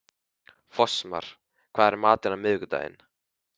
Fossmar, hvað er í matinn á miðvikudaginn?